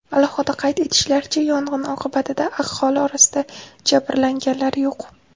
Alohida qayd etishlaricha, yong‘in oqibatida aholi orasida jabrlanganlar yo‘q.